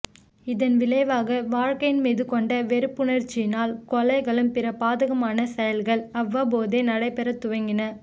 இதன் விளைவாக வாழ்க்கையின் மீது கொண்ட வெறுப்பணர்ர்சியினால் கொலைகளும் பிற பாதகமான செயல்கள் அவ்வப்போது நடைபெற துவங்கின